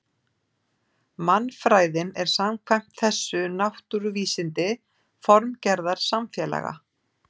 Mannfræðin er samkvæmt þessu náttúruvísindi formgerðar samfélaga.